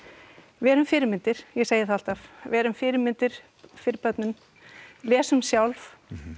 verum fyrirmyndir ég segi það alltaf verum fyrirmyndir fyrir börnin lesum sjálf